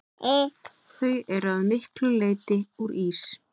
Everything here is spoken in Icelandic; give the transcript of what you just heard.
Þau eru að miklu leyti úr ís.